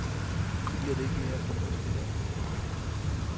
Det bliver det ikke mere fornuftigt af.